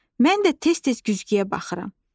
Mən də tez-tez güzgüyə baxıram.